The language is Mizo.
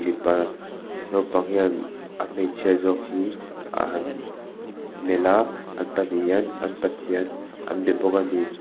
pa naupang hian a hmeichhia zawk hi a han melh a an pahnih hian an pathian an be bawk ani.